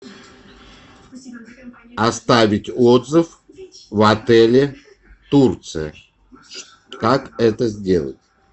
оставить отзыв в отеле турция как это сделать